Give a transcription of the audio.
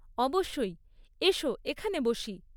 অবশ্যই! এসো, এখানে বসি।